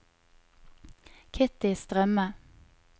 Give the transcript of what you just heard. Kitty Strømme